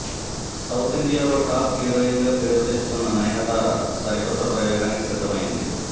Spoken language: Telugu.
సౌత్ ఇండియాలో టాప్ హీరోయిన్ గా పేరు తెచ్చుకున్న నయనతార సరికొత్త ప్రయోగానికి సిద్ధమైంది